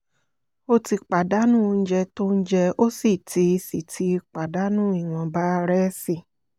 ó ti pàdánù oúnjẹ tó ń jẹ́ ó sì ti sì ti pàdánù ìwọ̀nba rẹ̀sí